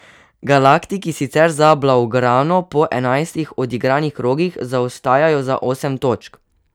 Galaktiki sicer za blaugrano po enajstih odigranih krogih zaostajajo za osem točk.